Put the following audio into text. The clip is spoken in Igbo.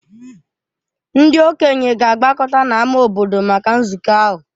Ndị okenye ga-agbakọta n’ámá obodo maka nzukọ ahụ.